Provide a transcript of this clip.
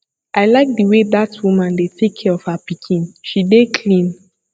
i like the way dat woman dey take care of her pikin she dey clean